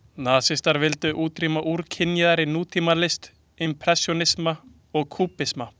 Nasistar vildu útrýma úrkynjaðri nútímalist, impressjónisma og kúbisma.